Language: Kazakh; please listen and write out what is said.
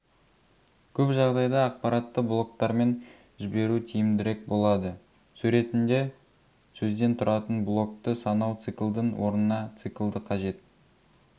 көп жағадайда ақпаратты блоктармен жіберу тиімдірек болады суреттінде сөзден тұратын блокты санау циклдың орнына циклды қажет